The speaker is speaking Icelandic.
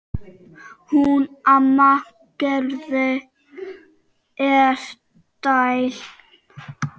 Hún amma Gerða er dáin.